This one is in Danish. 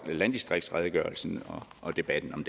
landdistriktsredegørelsen og debatten om